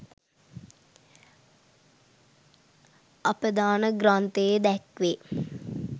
අපදාන ග්‍රන්ථයේ දැක්වේ.